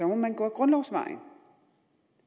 må man gå ad grundlovsvejen